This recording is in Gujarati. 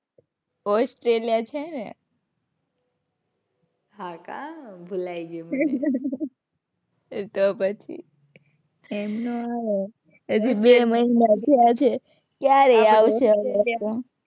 austreliya છે ને. હાં કાં ભુલાઈ ગયું મને. તો પછી. એમ નો આવે ને. હજુ બે મહિના થયા છે. ક્યારેય આવશે હવે તો.